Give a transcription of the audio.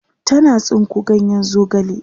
tana tsinko ganyen zogale